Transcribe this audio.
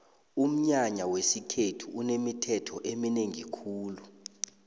umnyanya wesikhethu unemithetho eminengi khulu